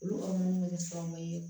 Olu ka mun bɛ kɛ sababu ye